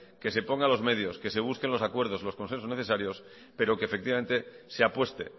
que se ponga los medios que se busquen los acuerdos y los consensos necesarios pero que se apueste